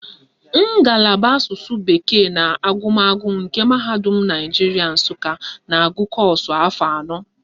Ngalaba Asụsụ bekee na agụmagụ nke Mahadum Naijiria Nsụka na-agụ kọ́ọ̀sụ̀ afọ anọ